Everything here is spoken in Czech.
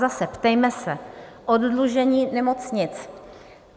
Zase, ptejme se: oddlužení nemocnic.